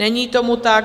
Není tomu tak.